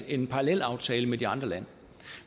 en parallelaftale med de andre lande